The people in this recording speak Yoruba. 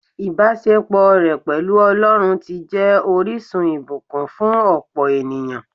Ìbásepọ̀ rẹ̀ pẹ̀lú Ọlọ́run ti jẹ́ orísun ìbùkún fún òpò ènìyàn